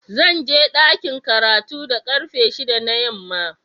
Zan je dakin karatu da karfe shida na yamma.